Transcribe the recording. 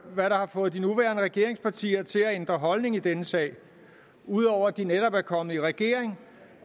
hvad der har fået de nuværende regeringspartier til at ændre holdning i denne sag ud over de netop er kommet i regering